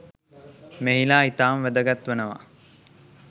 මෙහිලා ඉතාම වැදගත් වනවා.